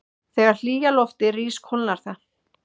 Þegar hlýja loftið rís kólnar það.